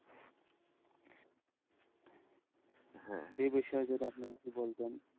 হ্যাঁ, এই বিষয়ে আপনি যদি কিছু বলতেন,